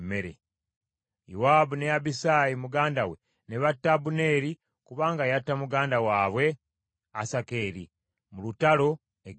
Yowaabu ne Abisaayi muganda we ne batta Abuneeri kubanga yatta muganda waabwe Asakeri mu lutalo e Gibyoni.